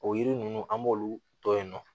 O yiri ninnu an b'olu tɔ yen nɔ